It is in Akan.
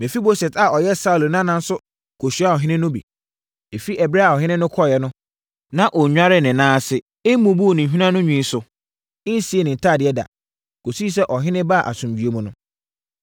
Mefiboset a ɔyɛ Saulo nana nso kɔhyiaa ɔhene no bi. Ɛfiri ɛberɛ a ɔhene no kɔeɛ no, na ɔnnwaree ne nan ase, mmubuu ne hweneanonwi so, nsii ne ntadeɛ da, kɔsii sɛ ɔhene baa asomdwoeɛ mu no.